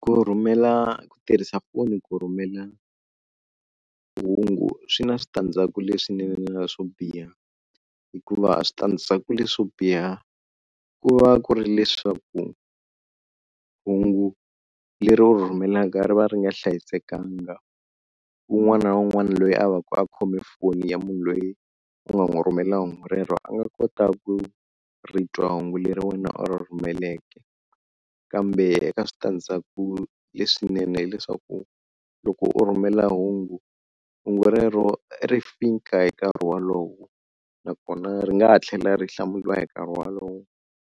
Ku rhurhumela ku tirhisa foni ku rhumela hungu swi na switandzhaku leswinene na swo biha, hikuva switandzhaku leswo biha ku va ku ri leswaku hungu leri u ri rhumelaka ri va ri nga hlayisekanga, wun'wana na wun'wana loyi a va ka a khome foni ya munhu loyi u nga n'wi rhumela hungu rero a nga kota ku ri twa hungu leri wena u ri rhumeleke. Kambe eka switandzhaku leswinene hileswaku, loko u rhumela hungu, hungu rero ri fika hi nkarhi wolowo nakona ri nga ha tlhela ri hlamuriwa hi nkarhi wolowo.